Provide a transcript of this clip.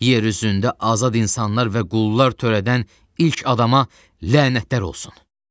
Yer üzündə azad insanlar və qullar törədən ilk adama lənətlər olsun!